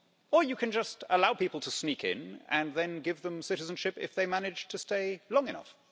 Or you can just allow people to sneak in and then give them citizenship if they manage to stay long enough.